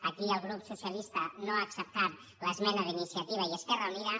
aquí el grup socialista no ha acceptat l’esmena d’iniciativa i esquerra unida